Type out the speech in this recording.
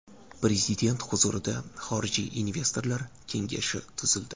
Prezident huzurida xorijiy investorlar kengashi tuzildi.